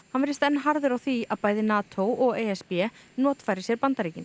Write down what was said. hann virðist enn harður á því að bæði NATO og e s b notfæri sér Bandaríkin